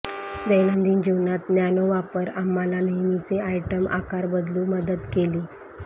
दैनंदिन जीवनात नॅनो वापर आम्हाला नेहमीचे आयटम आकार बदलू मदत केली